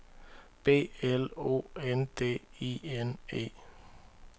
B L O N D I N E